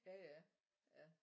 jaja ja